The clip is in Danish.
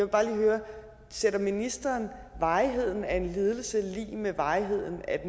bare lige høre sætter ministeren varigheden af en lidelse lig med varigheden af